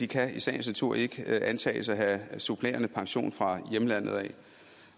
kan i sagens natur ikke antages at have supplerende pension fra hjemlandet